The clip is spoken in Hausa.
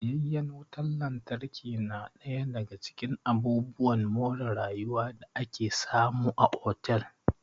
Tsayayyen wutan lantarki na ɗaya daga cikin abubuwan more rayuwa da ake samu a otal